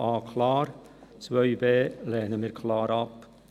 Die Planungserklärung 2b lehnen wir klar ab.